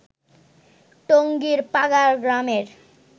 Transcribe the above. টঙ্গীর পাগাড় গ্রামের